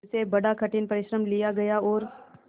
उससे बड़ा कठिन परिश्रम लिया गया और